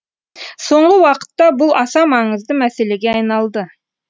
соңғы уақытта бұл аса маңызды мәселеге айналды